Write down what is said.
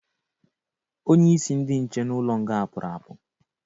Onye isi ndị nche n'ụlọ nga pụrụ apụ